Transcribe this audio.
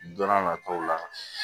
Don n'a nataw la